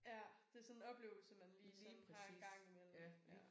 Ja det sådan en oplevelse man lige sådan har engang imellem ja